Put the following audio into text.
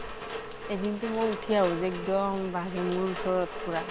এদিন টো মই ওঠি আহোতে এক্দম বাঘে মোৰ ওচৰত পুৰা